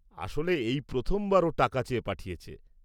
আসলে, এই প্রথমবার ও টাকা চেয়ে পাঠিয়েছে।